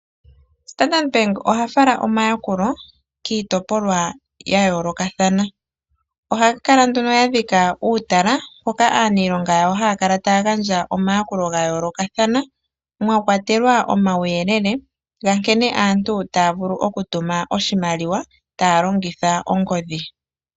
Standard bank oha fala omayakulo kiitopolwa ya yoolokathana . Ohaya kala ya dhika uutala mpoka aaniilonga yawo haya kala taya gandja omayakulo ga yoolokathana. Mwakwatelwa omauyelele nkene aantu taya vulu oku tuma oshimaliwa taya longitha ongodhi.